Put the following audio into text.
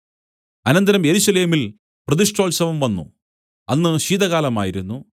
അനന്തരം യെരൂശലേമിൽ പ്രതിഷ്ഠോത്സവം വന്നു അന്ന് ശീതകാലമായിരുന്നു